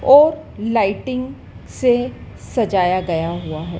और लाइटिंग से सजाया गया हुआ है।